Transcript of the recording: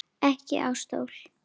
Ekki á stól.